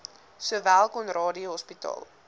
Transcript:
sowel conradie hospitaal